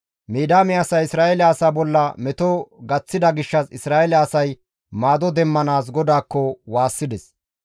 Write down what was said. Midiyaame asay Isra7eele asaa bolla meto gaththida gishshas Isra7eele asay maado demmanaas GODAAKKO waassides.